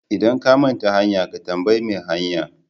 Idan ka manta hanya, ka tambayi mai hanya.